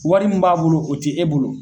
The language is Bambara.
Wari mun b'a bolo o tɛ e bolo.